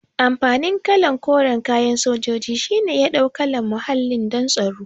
Amfanin kalan koran kayan sojoji shine ya ɗau kalan muhalli don tsaro